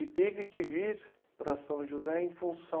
E teve que vir para São José em função...